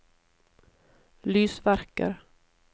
lysverker